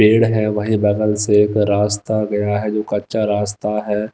पेड़ है वहीं बगल से एक रास्ता गया है जो कच्चा रास्ता है।